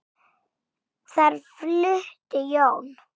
Þar flutti Jón